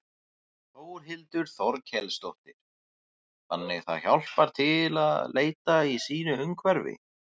Þórhildur Þorkelsdóttir: Þannig það hjálpar til að leita í sínu nærumhverfi?